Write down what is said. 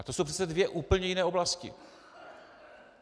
Ale to jsou přece dvě úplně jiné oblasti!